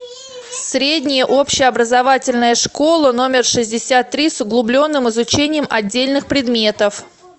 средняя общеобразовательная школа номер шестьдесят три с углубленным изучением отдельных предметов